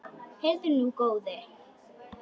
Heyrðu nú, góði!